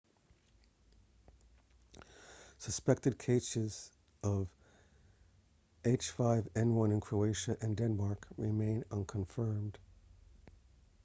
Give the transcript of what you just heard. suspected cases of h5n1 in croatia and denmark remain unconfirmed